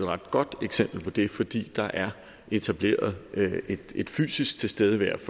ret godt eksempel på det fordi der er etableret en fysisk tilstedeværelse